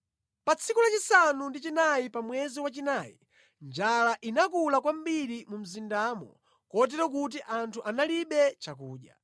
Pa tsiku lachisanu ndi chinayi pa mwezi wachinayi, njala inakula kwambiri mu mzindamo kotero kuti anthu analibe chakudya.